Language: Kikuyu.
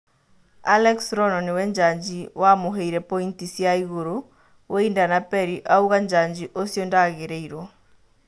Alex Rono nĩwe-njanji wamũheire pointi cia igũrũ Wĩinda na Perĩ , auga Njanjo ũcio ndagĩrĩirwo.